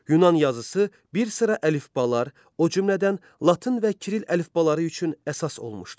Yunan yazısı bir sıra əlifbalar, o cümlədən latın və kiril əlifbaları üçün əsas olmuşdur.